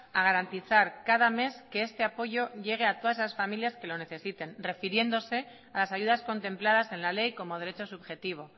a garantizar cada mes que este apoyo llegue a todas esas familias que lo necesiten refiriéndose a las ayudas contempladas en la ley como derecho subjetivo